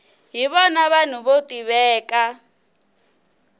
hi vona vanhu vo tiveka